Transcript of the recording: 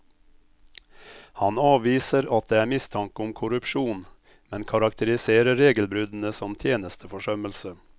Han avviser at det er mistanke om korrupsjon, men karakteriserer regelbruddene som tjenesteforsømmelse.